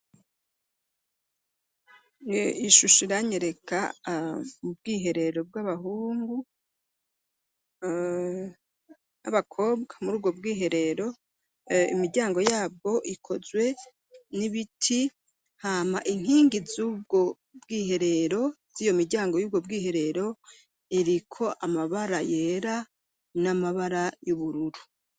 Ishusho iranyereka ubwiherero bw'abahungu n'abakobwa, muri ubwo bwiherero imiryango yabwo ikozwe n'ibiti hama inkingi z'ubwo bwiherero z'iyo miryango y'ubwo bwiherero iriko amabara yera n'amabara y'ubururu.